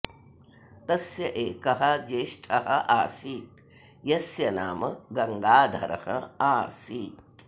तस्य एकः ज्येष्ठः आसीत् यस्य नाम गङ्गाधरः आसीत्